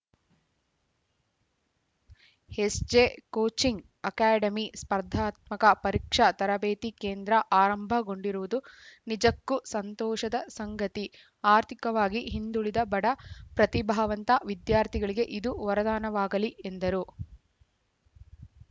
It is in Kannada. ಎಸ್‌ಜೆಕೋಚಿಂಗ್‌ ಅಕಾಡೆಮಿ ಸ್ಪರ್ಧಾತ್ಮಕ ಪರೀಕ್ಷಾ ತರಬೇತಿ ಕೇಂದ್ರ ಆರಂಭಗೊಂಡಿರುವುದು ನಿಜಕ್ಕೂ ಸಂತೋಷದ ಸಂಗತಿ ಆರ್ಥಿಕವಾಗಿ ಹಿಂದುಳಿದ ಬಡ ಪ್ರತಿಭಾವಂತ ವಿದ್ಯಾರ್ಥಿಗಳಿಗೆ ಇದು ವರದಾನವಾಗಲಿ ಎಂದರು